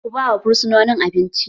Ku ba wa fursononin abinci!